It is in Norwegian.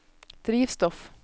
drivstoff